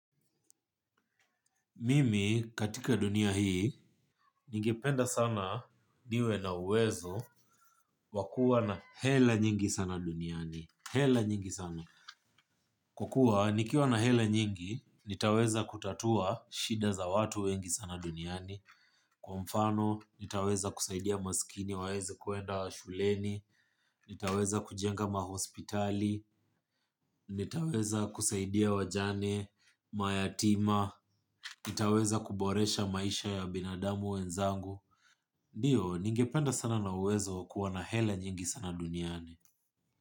Mimi katika dunia hii, ningependa sana niwe na uwezo wa kuwa na hela nyingi sana duniani. Hela nyingi sana. Kwa kuwa, nikiwa na hela nyingi, nitaweza kutatua shida za watu wengi sana duniani. Kwa mfano, nitaweza kusaidia masikini waeze kwenda wa shuleni. Nitaweza kujenga mahospitali. Nitaweza kusaidia wajane, mayatima. Wenzangu nitaweza kuboresha maisha ya binadamu wenzangu. Ndio, ningependa sana na uwezo kuw na hela nyingi sana duniani.